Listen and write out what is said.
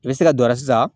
I bɛ se ka don a la sisan